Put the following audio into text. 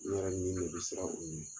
N yɛrɛ bɛ min min bɛ siran u ye